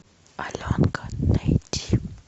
аленка найти